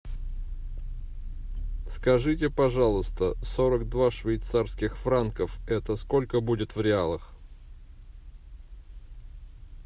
скажите пожалуйста сорок два швейцарских франков это сколько будет в реалах